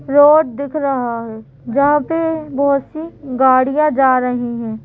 Road दिख रहा है जहाँ पे बहुत सी गाड़ियाँ जा रही हैं ।